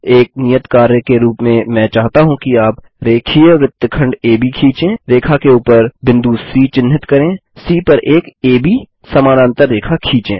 एक नियत कार्य के रूप में मैं चाहता हूँ कि आप एक रेखीय वृत्तखंड एबी खींचें रेखा के ऊपर बिंदु सी चिन्हित करें सी पर एक एबी समानांतर रेखा खींचें